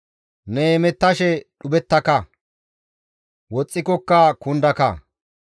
Ne hemettashe dhuphettaka; woxxikokka kundaka.